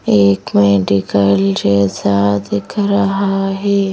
एक मेडिकल जैसा दिख रहा है।